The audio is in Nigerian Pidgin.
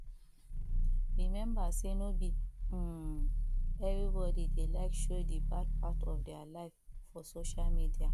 remember sey no be um everybody dey like show the bad part of their life for social media